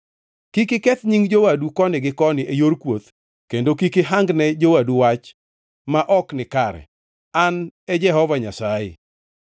“ ‘Kik iketh nying jowadu koni gi koni e yor kuoth, kendo kik ihangne jowadu wach ma ok nikare. An e Jehova Nyasaye.